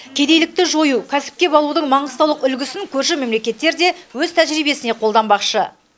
кедейлікті жою кәсіпке баулудың маңғыстаулық үлгісін көрші мемлекеттер де өз тәжірибесіне қолданбақшы